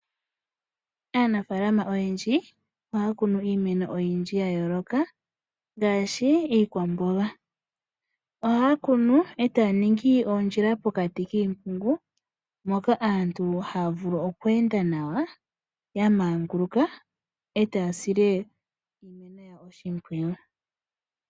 Aanafalama oyendji ohakunu iimeno oyindji yayoloka ngashi iikwambonga, ohakunu otaningi ondjila pokati kipungu moka aantu havulu okwenda nawa yamanguluka etasile iimeno yawo oshipwiyu.